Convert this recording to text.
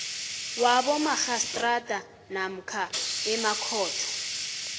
wabomarhistrada namkha emakhotho